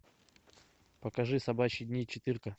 покажи собачьи дни четырка